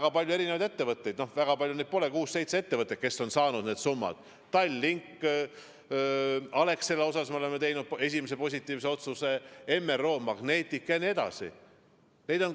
On palju erinevaid ettevõtteid – noh, väga palju neid pole, kuus-seitse ettevõtet –, kes on need summad saanud: Tallink, Alexela kohta oleme teinud esimese positiivse otsuse, Magnetic MRO ja mõned teised.